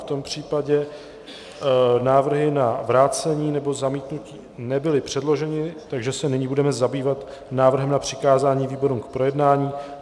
V tom případě návrhy na vrácení nebo zamítnutí nebyly předloženy, takže se nyní budeme zabývat návrhem na přikázání výborům k projednání.